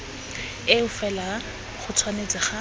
eo fela go tshwanetse ga